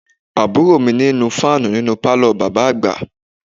Àbúrò mi ń nu fáànù nínú pálọ̀ bàbá àgbà